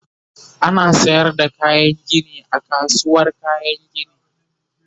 ana sayar da kayan Gini a kasuwar kayan Gini